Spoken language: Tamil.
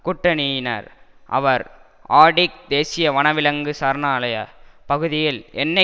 கூட்டணியினர் அவர் ஆர்டிக் தேசிய வனவிலங்கு சரணாலய பகுதியில் எண்ணெய்